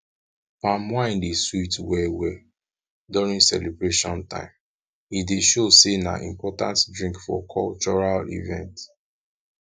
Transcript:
palm wine dey sweet well well during celebration time e dey show sey na important drink for cultural event